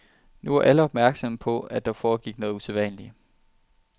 Nu var alle opmærksomme på, at der foregik noget usædvanligt.